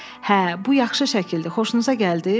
“Hə, bu yaxşı şəkildir, xoşunuza gəldi?